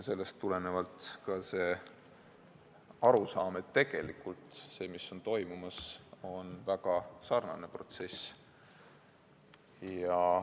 Sellest tuleneb ka see arusaam, et see, mis on praegu toimumas, on sellega väga sarnane protsess.